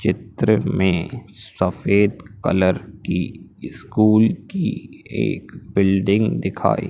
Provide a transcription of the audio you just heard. चित्र में सफेद कलर की स्कूल की एक बिल्डिंग दिखाई--